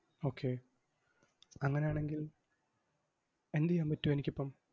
Okay അങ്ങനെയാണെങ്കിൽ എന്തെയ്യാൻ പറ്റും എനിക്കിപ്പം?